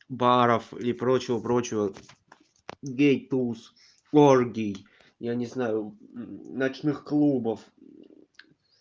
баров или прочего прочего гейттулс форгий я не знаю ночных клубов